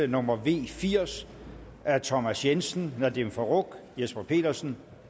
nummer v firs af thomas jensen nadeem farooq jesper petersen